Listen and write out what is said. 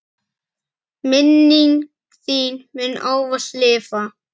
Minning þín mun ávallt lifa.